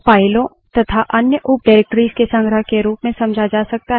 अगला directory क्या है